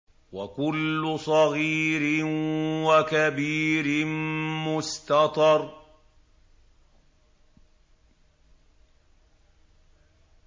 وَكُلُّ صَغِيرٍ وَكَبِيرٍ مُّسْتَطَرٌ